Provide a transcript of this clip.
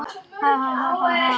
Hún var alltaf góð.